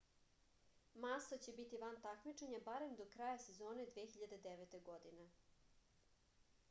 masa će biti van takmičenja barem do kraja sezone 2009. godine